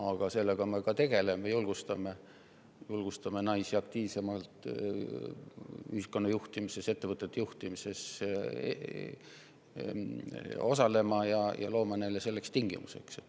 Aga sellega me tegeleme, julgustame naisi ühiskonna juhtimises ja ettevõtete juhtimises aktiivsemalt osalema ja loome neile selleks tingimusi.